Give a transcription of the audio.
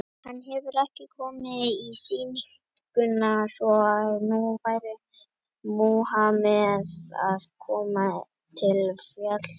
Hann hefur ekki komið á sýninguna, svo að nú verður Múhameð að koma til fjallsins.